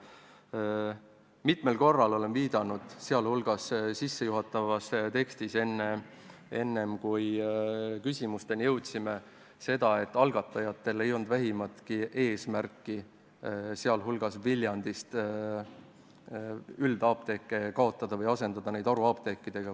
Ma olen mitmel korral öelnud, sh sissejuhatavas kõnes, enne kui küsimusteni jõudsime, et algatajatel ei ole olnud vähimatki eesmärki Viljandist üldapteeke kaotada või asendada need haruapteekidega.